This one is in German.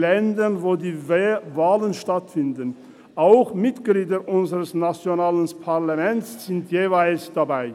Als letzter Einzelsprecher hat Grossrat Hess das Wort.